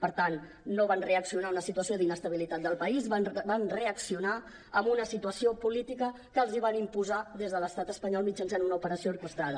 per tant no van reaccionar a una situació d’inestabilitat del país van reaccionar a una situació política que els van imposar des de l’estat espanyol mitjançant una operació orquestrada